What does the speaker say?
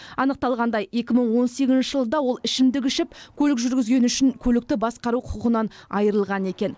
анықталғандай екі мың он сегізінші жылы да ол ішімдік ішіп көлік жүргізгені үшін көлікті басқару құқығынан айырылған екен